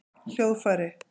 hljóðfæri